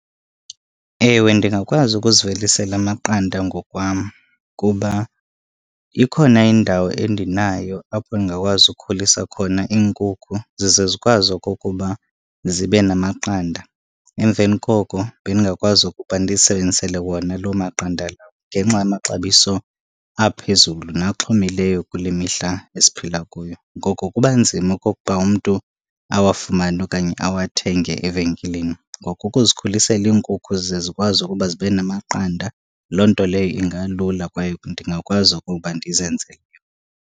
Ewe, ndingakwazi ukuzivelisela amaqanda ngokwam kuba ikhona indawo endinayo apho ndingakwazi ukhulisa khona iinkukhu zize zikwazi okokuba zibe namaqanda. Emveni koko bendingakwazi ukuba ndizisebenzisele wona loo maqanda lawo. Ngenxa yamaxabiso aphezulu naxhomileyo kule mihla esiphila kuyo, ngoko kuba nzima okokuba umntu awafumane okanye awathenge evenkileni. Ngoko ukuzikhulisela iinkukhu ze zikwazi ukuba zibe namaqanda loo nto leyo ingalula kwaye ndingakwazi ukuba ndizenzele.